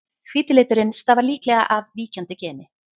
Hvíti liturinn stafar líklega af víkjandi geni.